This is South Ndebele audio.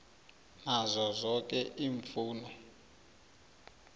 nazo zoke iimfuno